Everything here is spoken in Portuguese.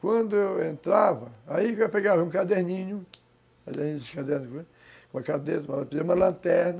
Quando eu entrava, aí eu pegava um caderninho, caderninho, uma cadeira, uma lanterna,